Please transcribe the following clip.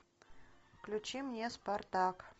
включи мне спартак